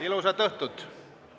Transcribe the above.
Ilusat õhtut!